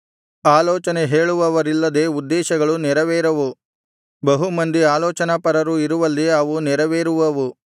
ಆಲೋಚನೆ ಹೇಳುವವರಿಲ್ಲದೆ ಉದ್ದೇಶಗಳು ನೆರವೇರವು ಬಹು ಮಂದಿ ಆಲೋಚನಾಪರರು ಇರುವಲ್ಲಿ ಅವು ನೆರವೇರುವವು